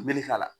Meli k'a la